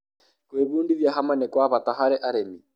gũĩbudithia hamwe nĩ gwa bata hari arĩmi